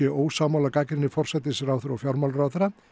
ósammála gagnrýni forsætisráðherra og fjármálaráðherra